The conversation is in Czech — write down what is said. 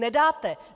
Nedáte!